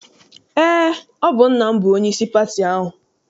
Eé, ọ bụ nna m bụ onyeisi pati ahụ.